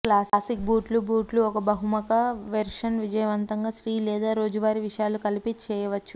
classic బూట్లు బూట్లు ఒక బహుముఖ వెర్షన్ విజయవంతంగా స్త్రీ లేదా రోజువారీ విషయాలు కలిపి చేయవచ్చు